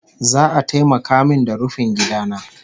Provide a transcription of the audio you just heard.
Za'a taimaka min da rufin gida na